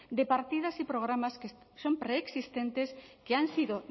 de partidas y programas que son preexistentes que han sido